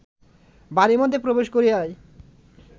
বাড়ীর মধ্যে প্রবেশ করিয়াই